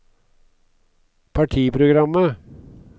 partiprogrammet